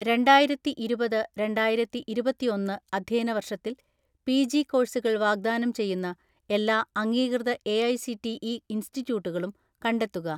"രണ്ടായിരത്തിഇരുപത് രണ്ടായിരത്തിഇരുപത്തിഒന്ന് അധ്യയന വർഷത്തിൽ പിജി കോഴ്‌സുകൾ വാഗ്ദാനം ചെയ്യുന്ന എല്ലാ അംഗീകൃത എഐസിടിഇ ഇൻസ്റ്റിറ്റ്യൂട്ടുകളും കണ്ടെത്തുക."